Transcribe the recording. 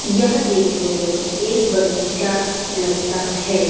यह देखने में एक बगीचा लगता है।